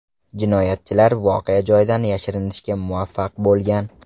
Jinoyatchilar voqea joyidan yashirinishga muvaffaq bo‘lgan.